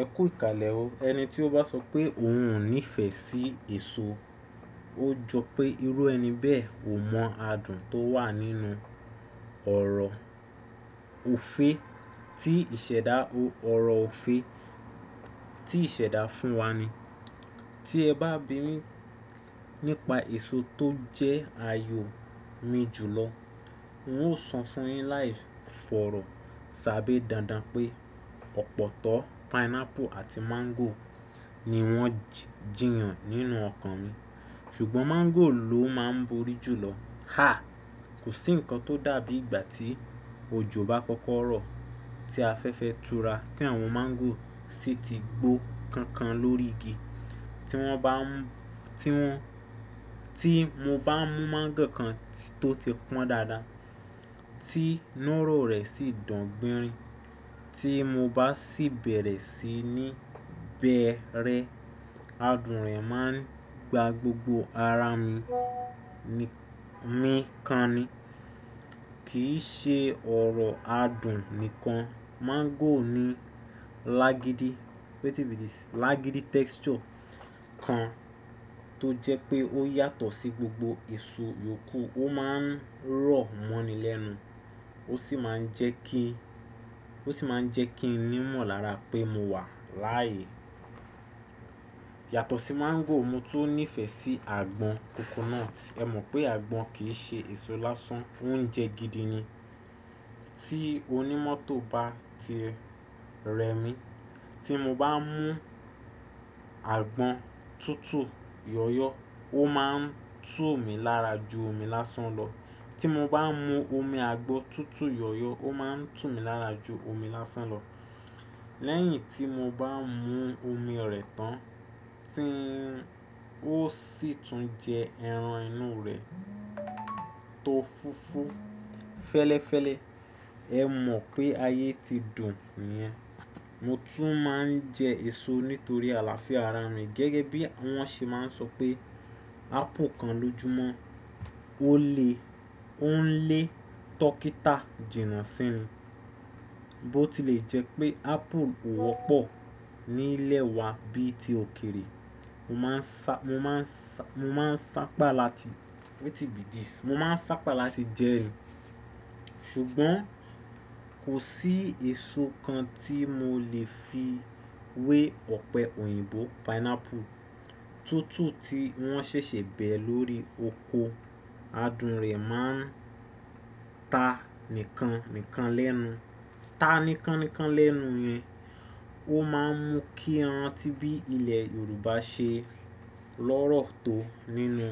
Ẹ kú ìkàlẹ̀ o. Ẹni tí ó bá sọ pé òun ò nífẹ̀ẹ́ sí èso, ó jọ pé irú ẹni bẹ́ẹ̀ ò mọ adùn tó wà nínú ọ̀rọ̀ òfe tí ìṣẹ̀dá, ọ̀rọ̀ òfe tí ìṣẹ̀dá fún wa ni. Tí ẹ bá bínrin nípa èso tó jẹ́ àyò mi jùlọ, n óò sọ fún ẹ láìfọ̀rọ̀ sábé dandan pé ọ̀pọ̀tọ́, pineapple àti mango ni wọ́n jìyàn nínú ọkàn mi. Ṣùgbọ́n mango ló máa ń borí jùlọ. Haa! Kò sí nǹkan tó dàbí ìgbà tí òjò bá kọ́kọ́ rọ̀ tí afẹ́fẹ́ tura tí àwọn mango sì ti gbó kankan lórí igi. Tí wọ́n bá, tí wọ́n, tí mo bá mú mango kan tó ti pọ́n dáadáa tí inú rọ̀ rẹ̀ sì dùn gbìnrin, tí mo bá sì bẹ̀rẹ̀ síi ní bẹ̀e rẹ̀, adùn rẹ̀ máa ń gba gbogbo ara mi, mi kan ni. Kì í ṣe ọ̀rọ̀ adùn nìkan, mango ní lágídí, lágídí texture kan tó jẹ́ pé ó yàtọ̀ sí gbogbo èso yòókù. Ó máa ń rọ̀ mọ́ni lẹ́nu, ó sì máa ń jẹ́ kí, ó sì máa ń jẹ́ kí n mọ̀ lára pé mo wà láàyè. Yàtọ̀ sí mango, mo tún nífẹ̀ẹ́ sí àgbọn coconut. Ẹ mọ̀ pé àgbọn kì í ṣe èso lásán, óuńjẹ gidi ni. Tí onímọ̀tó bá ti rẹ́ mi, tí mo bá mú àgbọn tútù yọ̀yọ̀, ó máa ń tú mi lára ju omi lásán lọ. Tí mo bá mú omi àgbọn tútù yọ̀yọ̀, ó máa ń tú mi lára ju omi lásán lọ. Lẹ́yìn tí mo bá mú omi rẹ̀ tán, tí n ó sì tún jẹ ẹran inú rẹ̀ tó fúfú fẹ́lẹ́fẹ́lẹ́, ẹ mọ̀ pé ayé ti dùn niyẹn. Mo tún máa ń jẹ èso nítorí àlàáfíà ara mi. Gẹ́gẹ́ bí wọ́n ṣe máa ń sọ pé apple kan lójúmọ́ ó lè, ó ń lé dókítà jìnnà sínú. Bó ti lè jẹ́ pé apple ò wọ́pọ̀ ní ilẹ̀ wa bí i ti òkèrè, mo máa ń, mo máa ń, mo máa ń sápa láti, mo máa ń sápa láti jẹ ẹ ni. Ṣùgbọ́n kò sí èso kan tí mo lè fi wé ọ̀pẹ òyìnbó pineapple tútù tí wọ́n ṣẹ̀ṣẹ̀ bẹ̀ lórí oko. Adùn rẹ̀ máa ń ta nìkan, nìkan lẹ́nu, ta nìkan, nìkan lẹ́nu yẹn. Ó máa ń mú kí ẹran tí bí ilẹ̀ Yorùbá ṣe lọ́rọ̀ tó nínú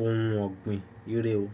ohun ọ̀gbìn rere o.